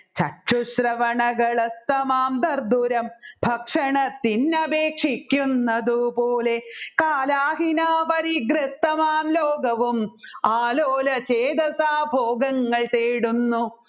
ചശ്രുശ്രവണകൾ എതമാം ധർധുരം ഭക്ഷണത്തിനപേക്ഷിക്കുന്നതു പോലെ കാലഹിനപരി ഗ്രതമാം ലോകവും ആലോല ചേതസാ ഭോഗങ്ങൾ തേടുന്നു